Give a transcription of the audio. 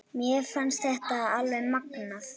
Mér fannst þetta alveg magnað.